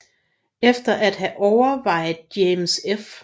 Efter at have overvejet James F